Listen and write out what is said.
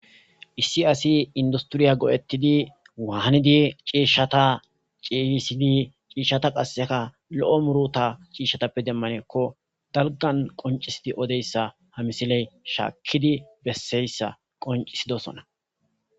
Issi asi industiriya go'ettidi waanidi ciishshata ciihisidi ciishshata qasseka lo'o muruta ciishshatappe demmanekko dalgan qoncisidi odeyssa hamisiley shaakkidi besseyssa qoncisidosona.